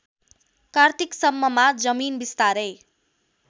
कार्तिकसम्ममा जमिन बिस्तारै